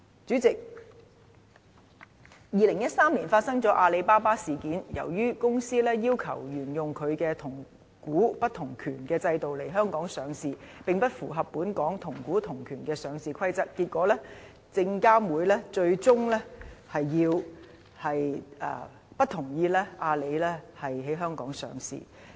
主席 ，2013 年發生了阿里巴巴事件，由於該公司要求沿由它同股不同權的制度來港上市，並不符合本港同股同權的上市規則，結果證監會最終不同意阿里巴巴在香港上市。